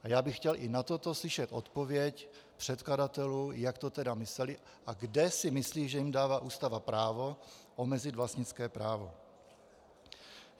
A já bych chtěl i na toto slyšet odpověď předkladatelů, jak to teda mysleli a kde si myslí, že jim dává Ústava právo omezit vlastnické právo.